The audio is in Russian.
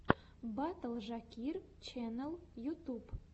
батл жакир ченэл ютуб